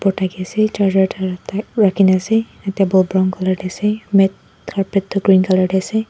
thaki ase charger rakhine ase table brown colour teh ase mate carpet tuh green colour teh ase.